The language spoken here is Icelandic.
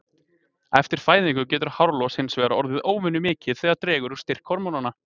Eftir fæðingu getur hárlos hins vegar orðið óvenjumikið þegar dregur úr styrk hormónanna.